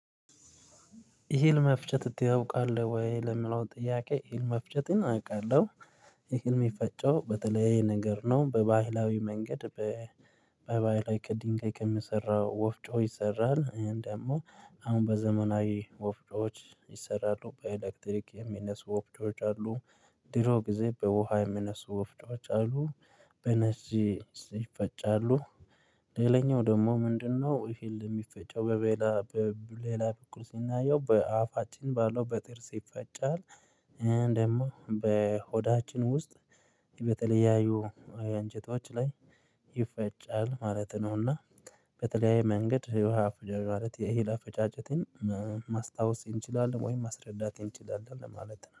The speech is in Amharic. ይህን መፍጨት ታወቃለህ ወይ ለሚለው ጥያቄ መፍጨትን አቃለሁ ይህን የፈጨው በተለይ ነገር ነው። በባህላዊ መንገድ በባህላዊ ቅድም ከምሰራው ወፍጮ ይሰራል ደግሞ አሁን በዘመናዊ ወፍጮዎች ይሰራሉ በኤሌክትሪክ የሚነሱ ወፍጮዎች አሉ ድሮ ጊዜ በውሃ የሚነሱ ወፍዶች አሉ በነዚህ ይፈጫሉ ሌላኛው ደግሞ ምንድነው እህል የሚፈጨው በሌላ በሌላ በኩል ሲናየው በአፋችን ባለው በጥርስ ይፈጫል ደግሞ በሆዳችን ውስጥ በተለያዩ አንጀቶች ላይ ይፈጫል ማለት ነውና በተለያየ መንገድ የህሕዋ የእህል አፈጫጭትን ማስታወስ እንችላለን ወይም ማስረዳት እንችላለን ለማለት ነው